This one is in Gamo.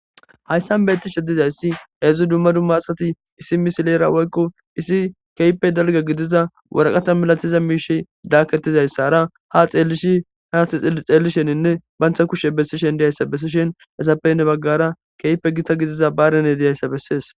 Haysan beeththishe dizayssi hezii dumma dumma asathei issi misileera woykko issi keehippe dalgga gidiza waraqate milathida miishshi daakethizayssaara haa xeellishi haatha xeellisheninne banththa kishe bessishin diyanshsha besishin ithappe hini baggaara keehippe githa gidida baarenee diyaza bessees.